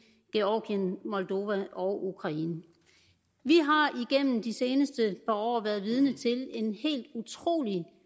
georgien moldova og ukraine vi har igennem de seneste par år været vidne til en helt utrolig